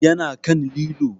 Ya na kan lilo